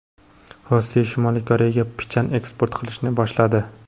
Rossiya Shimoliy Koreyaga pichan eksport qilishni boshladi.